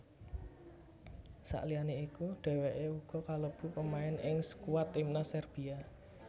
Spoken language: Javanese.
Sakliyane iku dhèwèké uga kalebu pemain ing skuad timnas Serbia